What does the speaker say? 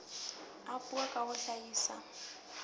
a puo ka ho hlahisa